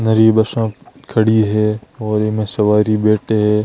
नरी बसा खड़ी है और ईमे सवारी बैठे है।